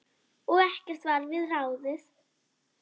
Og ekkert varð við ráðið.